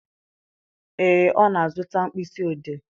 Ee, ọ na-azụta mkpịsị odee.